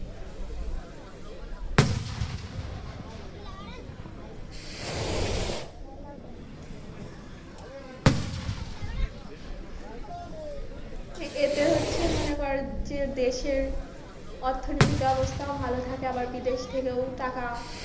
এতে হচ্ছে মনে কর যে দেশের অর্থনৈতিক অবস্থা ভালো থাকে আবার বিদেশ থেকেও টাকা,